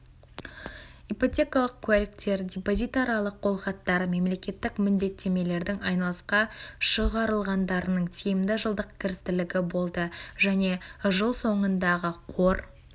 ипотекалық куәліктер депозитарлық қолхаттар мемлекеттік міндеттемелердің айналысқа шығарылғандарының тиімді жылдық кірістілігі және болды жыл соңындағы қор